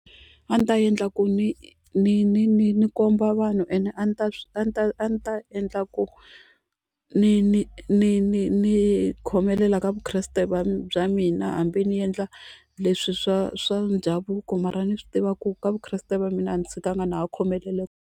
A ndzi ta endla ku ni ni ni ni ni komba vanhu ene a ni ta a ni ta a ni ta endla ku ni ni ni ni ni khomelela ka Vukreste bya mina hambi ni endla leswi swa swa ndhavuko mara ni swi tiva ku ka Vukreste va mina a ndzi tshikangi na ha khomelele .